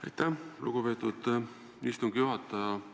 Aitäh, lugupeetud istungi juhataja!